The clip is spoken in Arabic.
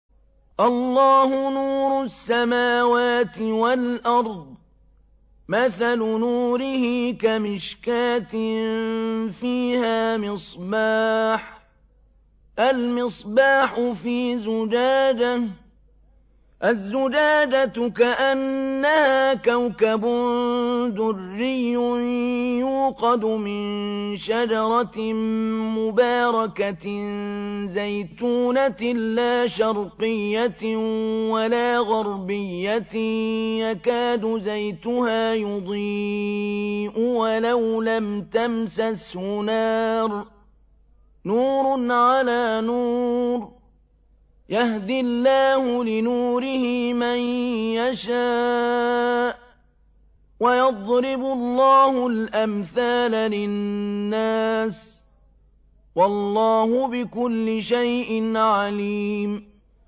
۞ اللَّهُ نُورُ السَّمَاوَاتِ وَالْأَرْضِ ۚ مَثَلُ نُورِهِ كَمِشْكَاةٍ فِيهَا مِصْبَاحٌ ۖ الْمِصْبَاحُ فِي زُجَاجَةٍ ۖ الزُّجَاجَةُ كَأَنَّهَا كَوْكَبٌ دُرِّيٌّ يُوقَدُ مِن شَجَرَةٍ مُّبَارَكَةٍ زَيْتُونَةٍ لَّا شَرْقِيَّةٍ وَلَا غَرْبِيَّةٍ يَكَادُ زَيْتُهَا يُضِيءُ وَلَوْ لَمْ تَمْسَسْهُ نَارٌ ۚ نُّورٌ عَلَىٰ نُورٍ ۗ يَهْدِي اللَّهُ لِنُورِهِ مَن يَشَاءُ ۚ وَيَضْرِبُ اللَّهُ الْأَمْثَالَ لِلنَّاسِ ۗ وَاللَّهُ بِكُلِّ شَيْءٍ عَلِيمٌ